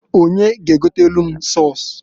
Onye g' egotalụ m sọs?